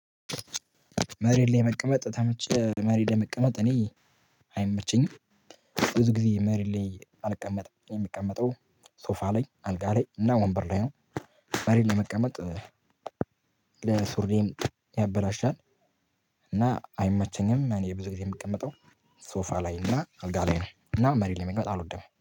መሬት ላይ መቀመጥ ተመቸህ? መሬት ለመቀመጥ እኔ አይመቸኝም። ብዙ ጊዜ መሬት ላይ አልቀመጥም የሚቀመጠው ሶፋ ላይ አልጋ ላይ እና ወንበር ላይ ነው። መሬት መቀመጥ ሱርዬንም ያበላሻል። እና አይመቸኝም እኔ ብዙ ጊዜ የምቀመጠው ሶፋ ላይ እና አልጋ ላይ ነው። እና መሬት ላይ መቀመጥ አልወደም